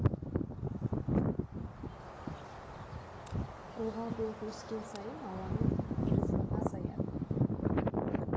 ылғалдылық өскен сайын ауаның тығыздығы азаяды